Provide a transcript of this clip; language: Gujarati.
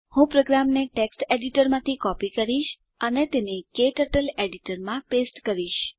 હું પ્રોગ્રામને ટેક્સ્ટ એડીટરમાંથી કોપી કરીશ અને તેને ક્ટર્ટલ એડીટરમાં પેસ્ટ કરીશ